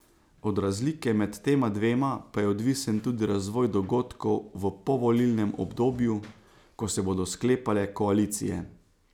Od razlike med tema dvema pa je odvisen tudi razvoj dogodkov v povolilnem obdobju, ko se bodo sklepale koalicije.